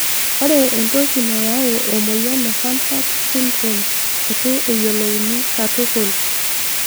Ore entoki nayau emoyian e Hanhart syndrome etu eyolouni katukul.